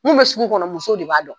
Mun , bɛ sugu kɔnɔ muso de b'a dɔn.